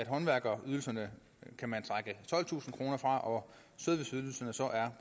håndværkerydelserne kan man trække tolvtusind kroner fra og